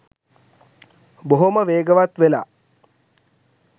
බොහොම වේගවත් වෙලා